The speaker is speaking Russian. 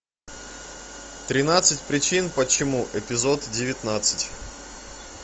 тринадцать причин почему эпизод девятнадцать